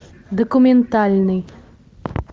документальный